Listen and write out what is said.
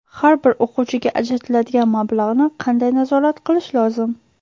Har bir o‘quvchiga ajratiladigan mablag‘ni qanday nazorat qilish lozim?